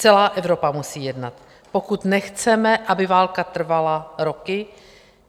Celá Evropa musí jednat, pokud nechceme, aby válka trvala roky.